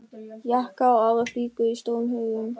Jakkar og aðrar flíkur í stórum haugum.